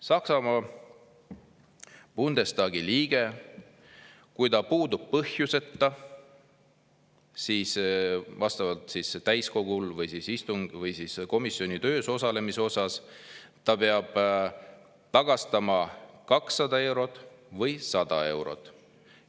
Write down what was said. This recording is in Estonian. Saksamaa Bundestagi liige, kui ta puudub põhjuseta vastavalt täiskogu istungilt või ei osale komisjoni töös, siis ta peab tagastama 200 eurot või 100 eurot.